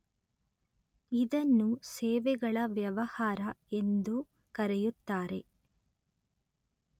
ಇದನ್ನು ಸೇವೆಗಳ ವ್ಯವಹಾರ ಎಂದೂ ಕರೆಯುತ್ತಾರೆ